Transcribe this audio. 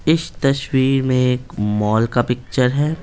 इस तस्वीर में एक मॉल का पिक्चर है।